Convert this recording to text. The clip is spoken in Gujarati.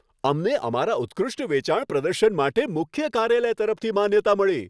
અમને અમારા ઉત્કૃષ્ટ વેચાણ પ્રદર્શન માટે મુખ્ય કાર્યાલય તરફથી માન્યતા મળી.